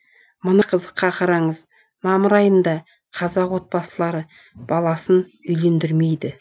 мыны қызыққа қараңыз мамыр айында қазақ отбасылары баласын үйлендірмейді